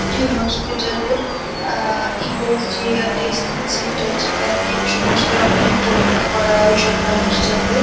একটি হসপিটালের uh USG. Testing centre যেখানে সমস্ত রকমের পরীক্ষা করা সব মানুষজনদের।